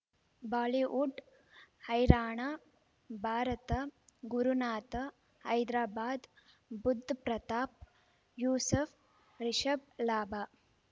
Bollywood ಹೈರಾಣ ಭಾರತ ಗುರುನಾಥ ಹೈದರಾಬಾದ್ ಬುಧ್ ಪ್ರತಾಪ್ ಯೂಸುಫ್ ರಿಷಬ್ ಲಾಭ